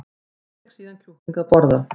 Hún fékk síðan kjúkling að borða